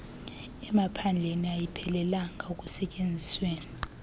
emaphandleni ayiphelelanga ekusetyenzisweni